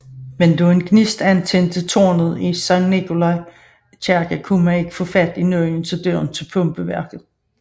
Men da en gnist antændte tårnet i Nicolai kirke kunne man ikke få fat i nøglen til døren til pumpeværket